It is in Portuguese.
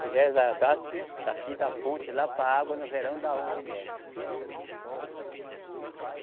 Pois é, da, da, daqui da ponte lá para a água no verão dá onze metros.